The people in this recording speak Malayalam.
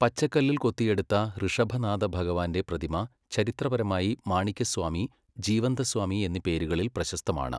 പച്ചക്കല്ലിൽ കൊത്തിയെടുത്ത ഋഷഭനാഥഭഗവാൻ്റെ പ്രതിമ ചരിത്രപരമായി മാണിക്യസ്വാമി, ജീവന്തസ്വാമി എന്നീ പേരുകളിൽ പ്രശസ്തമാണ്.